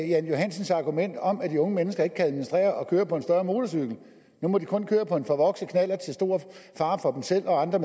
jan johansens argument om at de unge mennesker ikke kan administrere at køre på en større motorcykel nu må de kun køre på en forvokset knallert til stor fare for dem selv og andre